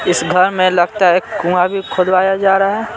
इस घर में लगता है एक कुंआ भी खुदवाया जा रहा है।